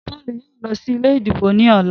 Paul yóò ló sí ilé ìdìbò ní ọlá.